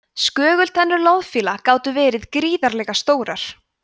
skögultennur loðfíla gátu verið gríðarlega stórar